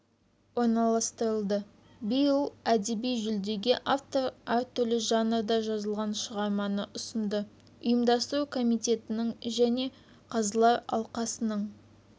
орналастырылды биыл әдеби жүлдеге автор әртүрлі жанрда жазылған шығарманы ұсынды ұйымдастыру комитетінің және қазылар алқасының